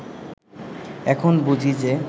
এখন বুঝি যে